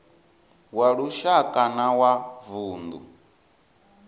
wa lushaka na wa vundu